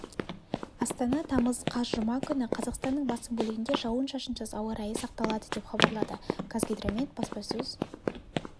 астана тамыз қаз жұма күні қазақстанның басым бөлігінде жауын-шашынсыз ауа райы сақталады деп хабарлады қазгидромет баспасөз